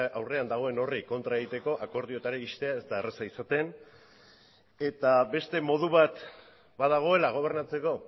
aurrean dagoen horri kontra egiteko akordiotara iristea ez da erraza izaten eta beste modu bat badagoela gobernatzeko